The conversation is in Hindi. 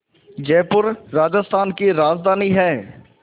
जयपुर राजस्थान की राजधानी है